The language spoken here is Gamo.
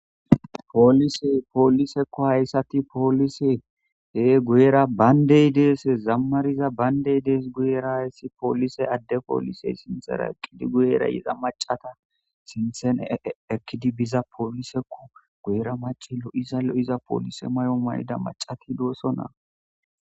Poolise poolisekko hayssati poolise he guyera bayndey deese zammariza bayndey dees guyera hayssi poolise adde poolisey sinxera eqqidi guyerayiza macata sinthene ekkidi biza poolisekko guyera maci lo'iza lo'iza poolise may'o mayida macati doosonaa.